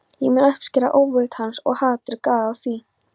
Ég mun uppskera óvild hans- og hatur, gáðu að því.